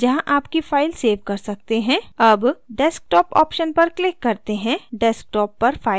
अब desktop option पर click करते हैं desktop पर file सेव होगी